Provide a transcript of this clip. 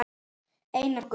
Einar Gunnar.